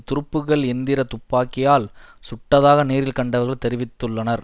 துருப்புக்கள் எந்திர துப்பாக்கியால் சுட்டதாக நேரில் கண்டவர்கள் தெரிவித்துள்ளனர்